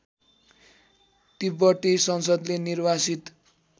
तिब्बती संसदले निर्वासित